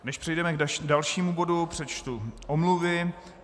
Než přejdeme k dalšímu bodu, přečtu omluvy.